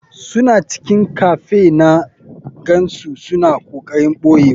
Suna cikin cafe na gansu suna kokarin boyewa.